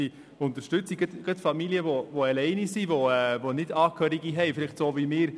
Es fehlt heute zum Teil noch eine gute und ausreichende Unterstützung.